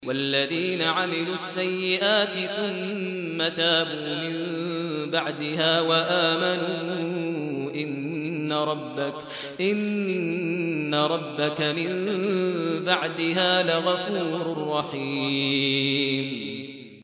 وَالَّذِينَ عَمِلُوا السَّيِّئَاتِ ثُمَّ تَابُوا مِن بَعْدِهَا وَآمَنُوا إِنَّ رَبَّكَ مِن بَعْدِهَا لَغَفُورٌ رَّحِيمٌ